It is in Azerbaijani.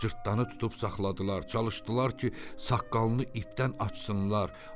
Cırtdanı tutub saxladılar, çalışdılar ki, saqqalını ipdən açsınlar.